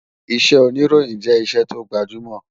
Iṣẹ́ òníròyìn jẹ́ iṣẹ́ tó gbajúmọ̀